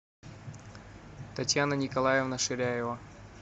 татьяна николаевна ширяева